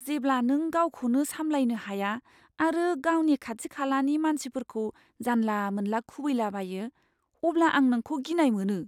जेब्ला नों गावखौनो सामलायनो हाया आरो गावनि खाथि खालानि मानसिफोरखौ जानला मोनला खुबैला बायो, अब्ला आं नोंखौ गिनाय मोनो।